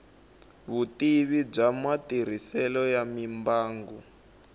vutivi bya matirhiselo ya mimbangu